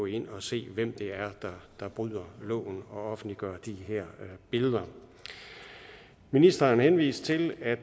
ind og se hvem det er der bryder loven og offentliggør de her billeder ministeren henviste til at